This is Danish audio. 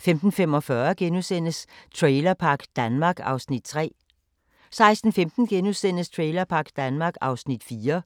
15:45: Trailerpark Danmark (Afs. 3)* 16:15: Trailerpark Danmark (Afs. 4)*